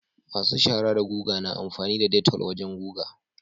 masu shaara da guga na amfani da detol wajan guga